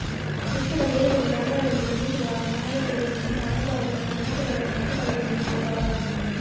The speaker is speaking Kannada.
ವಿಶ್ವದ ಬೇರೆ ಬೇರೆ ಜಾಗಗಳಲ್ಲಿ ನೆಲೆಸಿರುವ ಕನ್ನಡಿಗರೊಂದಿಗೆ ನಿಮ್ಮ ಅನುಭವ ಮತ್ತು ನೆನಪುಗಳನ್ನು ಹಂಚಿಕೊಳ್ಳಲು ಇದು ಒಂದು ಅವಕಾಶ